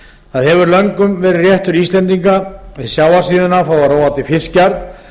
það hefur löngum verið réttur íslendinga við sjávarsíðuna að fá að róa til fiskjar